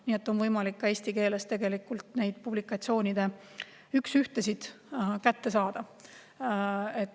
Nii et on võimalik ka eesti keeles neid publikatsioonide üks-ühtesid kätte saada.